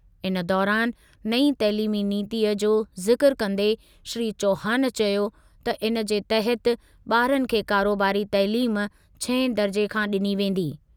इन दौरानि नईं तइलीमी नीतीअ जो ज़िक्र कंदे श्री चौहान चयो त इनजे तहति ॿारनि खे कारोबारी तइलीम छहें दर्ज़े खां ॾिनी वेंदी।